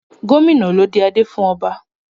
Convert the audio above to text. Gómìnà ló dé adé fún ọba.